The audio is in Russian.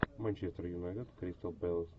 манчестер юнайтед кристал пэлас